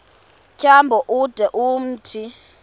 tyambo ude umthi